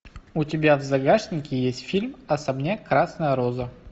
у тебя в загашнике есть фильм особняк красная роза